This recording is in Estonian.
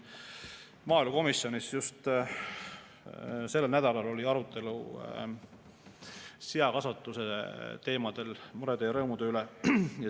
Maaelukomisjonis just sellel nädalal oli arutelu seakasvatuse teemadel, murede ja rõõmude üle.